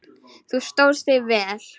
Þú stóðst þig vel.